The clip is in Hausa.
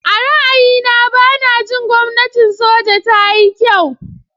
A ra'ayina, ba na jin gwamnatin soja ta yi kyau.